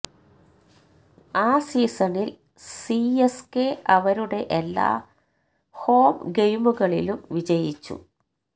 ആ സീസണിൽ സിഎസ്കെ അവരുടെ എല്ലാ ഹോം ഗെയിമുകളിലും വിജയിച്ചു